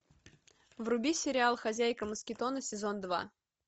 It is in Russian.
вруби сериал хозяйка москитона сезон два